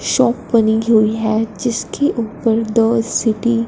shop बनी हुई है जिसके ऊपर दो सिटी --